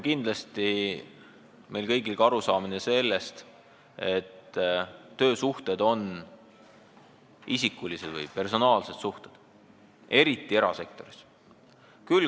Kindlasti on meil kõigil ka arusaamine sellest, et töösuhted on isikulised, personaalsed suhted, eriti erasektoris.